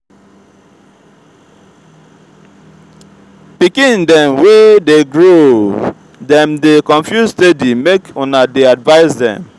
pikin dem wey dey grow dem dey confuse steady make una dey advice dem.